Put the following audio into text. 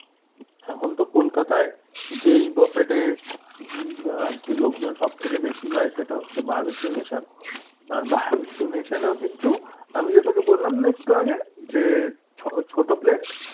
এখন তো কলকাতায় যেই buffet এ উম আরকি লোকজন সব থেকে বেশি যায় সেটা হচ্ছে barbeque nation আর barbeque nation এ ও কিন্তু আমি যে তোকে বললাম না একটু আগে যে ছোট plate